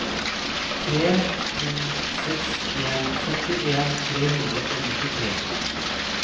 tre to seks en førtien tre hundre og nittitre